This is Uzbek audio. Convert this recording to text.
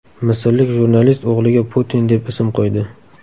Misrlik jurnalist o‘g‘liga Putin deb ism qo‘ydi.